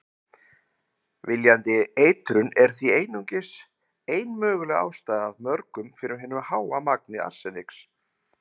Viljandi eitrun er því einungis ein möguleg ástæða af mörgum fyrir hinu háa magni arseniks.